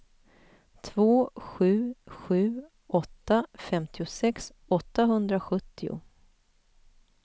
två sju sju åtta femtiosex åttahundrasjuttio